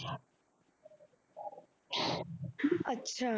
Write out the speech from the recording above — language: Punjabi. ਅੱਛਾ